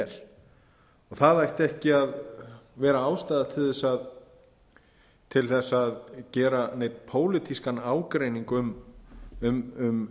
og það ætti ekki að vera ástæða til að gera neinn pólitískan ágreining um